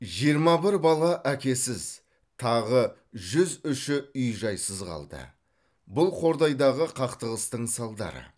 жиырма бір бала әкесіз тағы жүз үші үй жайсыз қалды бұл қордайдағы қақтығыстың салдары